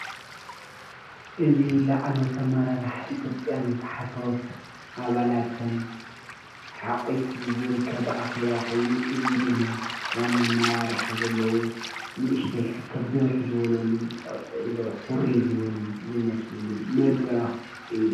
እዚ ላዕሎዎት ኣመራረሓ ኢ/ያ ታሕቶዎት ኣመራርሓ ኣባለትን ሓቁፉ ዝርከብ ኣኬባ ኮይኑ እዚ ድማ ዋና ኣመራርሓ ዘለዉ ንእሽተይ ሕቶን ብዝሕ ፣ፅዕፅዕ ዝበሉ ዝኮረይዩ ዝመስሉ መድረክ እዩ።